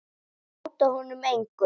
Ég hóta honum engu.